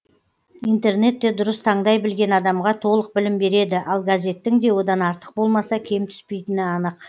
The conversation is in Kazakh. интернет те дұрыс таңдай білген адамға толық білім береді ал газеттің де одан артық болмаса кем түспейтіні анық